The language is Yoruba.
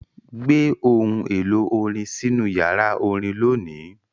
Gbé ohun èlò orin sínú yàrá orin lónìí!